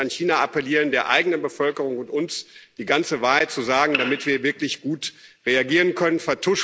Wir müssen an China appellieren, der eigenen Bevölkerung und uns die ganze Wahrheit zu sagen, damit wir wirklich gut reagieren können.